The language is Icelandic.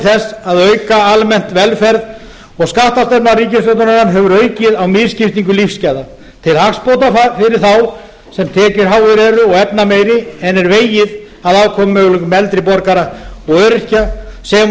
þess að auka almenna velferð og skattastefna ríkisstjórnarinnar hefur aukið á misskiptingu lífsgæða til hagsbóta fyrir þá tekjuháu og efnameiri en er vegið að afkomumöguleikum eldri borgara og öryrkja sem og